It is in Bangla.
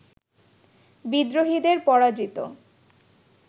বিদ্রোহীদের পরাজিত